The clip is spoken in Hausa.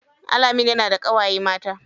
Alameen yana da ƙawaye mata.